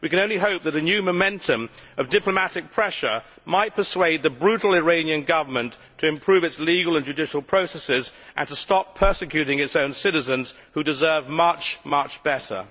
We can only hope that a new momentum of diplomatic pressure might persuade the brutal Iranian Government to improve its legal and judicial processes and to stop persecuting its own citizens, who deserve much better.